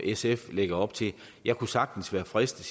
sf lægger op til jeg kunne sagtens være fristet